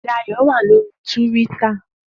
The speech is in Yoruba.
Dayo wá lóri túwìtá